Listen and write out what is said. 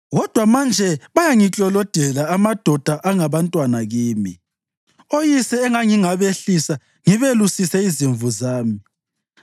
“Kodwa manje bayangiklolodela, amadoda angabantwana kimi, oyise engangingabehlisa ngibelusise izimvu zami.